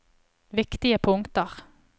viktige punkter